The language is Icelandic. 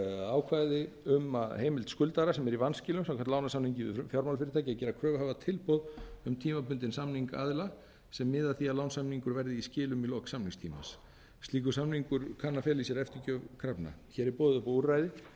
ákvæði um heimild skuldara sem er í vanskilum samkvæmt lánasamningi við fjármálafyrirtæki til að gera kröfuhafa tilboð um tímabundinn samning aðila sem miði að því að lánasamningur verði í skilum í lok samningstímans slíkur samningur kann að fela í sér eftirgjöf krafna hér er boðið upp á úrræði